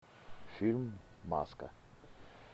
фильм маска